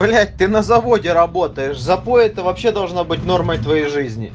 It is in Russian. блять ты на заводе работаешь запой это вообще должно быть нормой твоей